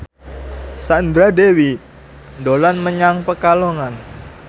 Sandra Dewi dolan menyang Pekalongan